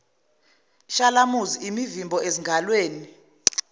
shalamuzi imivimbo ezingalweni